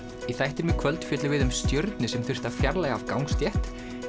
í þættinum í kvöld fjöllum við um stjörnu sem þurfti að fjarlægja af gangstétt